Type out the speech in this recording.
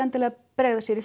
að bregða sér í